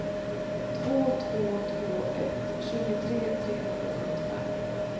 två två två ett tjugotre trehundrasjuttiofem